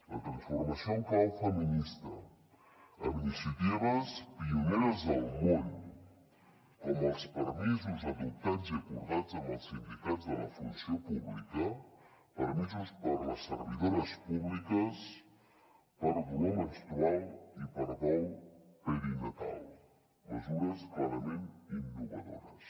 la transformació en clau feminista amb iniciatives pioneres al món com els permisos adoptats i acordats amb els sindicats de la funció pública permisos per a les servidores públiques per dolor menstrual i per dol perinatal mesures clarament innovadores